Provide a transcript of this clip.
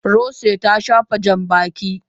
Rose ta shafa jan Janbaki.